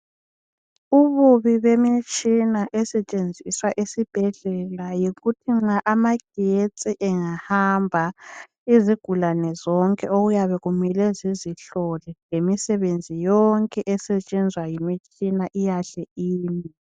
Ububi bemitshina esetshenziswa esibhedlela yikuthi nxa amagetsi engahamba izigulane zonke okuyabe kumele zizihlole lemisebenzi yonke esetshenzwa ngemitshina iyahle ime.